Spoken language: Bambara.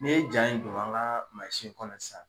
Ni ye ja in don an ka kɔnɔ sisan